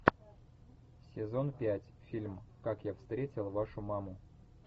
сезон пять фильм как я встретил вашу маму